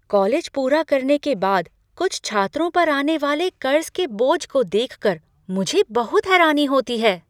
College पूरा करने के बाद कुछ छात्रों पर आने वाले कर्ज के बोझ को देख कर मुझे बहुत हैरानी होती है।